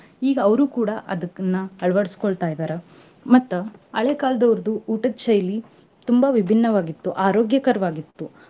ಈಗ ಅವ್ರು ಕೂಡಾ ಅದಕ್ಕನ್ನ ಅಳವಡಿಸ್ಕೊಳ್ತಾಯಿದಾರ ಮತ್ತ ಹಳೆ ಕಾಲದವರ್ದು ಊಟದ್ ಶೈಲಿ ತುಂಬಾ ವಿಭಿನ್ನವಾಗಿತ್ತು, ಆರೋಗ್ಯಕರವಾಗಿತ್ತು.